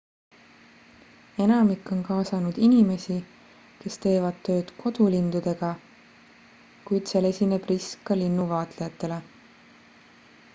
enamik on kaasanud inimesi kes teevad tööd kodulindudega kuid seal esineb risk ka linnuvaatlejatele